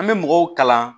An bɛ mɔgɔw kalan